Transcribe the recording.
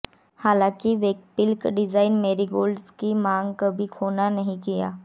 हालांकि वैकल्पिक design marigolds की मांग कभी खोना नहीं किया